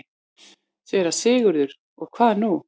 SÉRA SIGURÐUR: Og hvað nú?